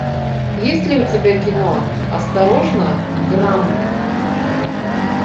есть ли у тебя кино осторожно грамп